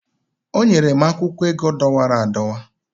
o nyere m akwụkwọ ego dọwara adọwa